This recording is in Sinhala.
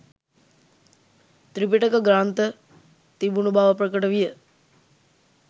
ත්‍රිපිටක ග්‍රන්ථ තිබුණු බව ප්‍රකට විය